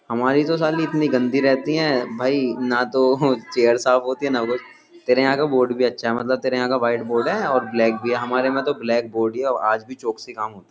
हमारे तो साली इतनी गंदी रहती है भाई ना तो चेयर साफ होती है ना कुछ तेरे यहाँ का बोर्ड भी अच्छा है तेरे यहाँ का व्हाइट बोर्ड है ओर ब्लैक भी है हमारे यहाँ तो ब्लैक बोर्ड ही है आज भी चोक से ही काम होता है।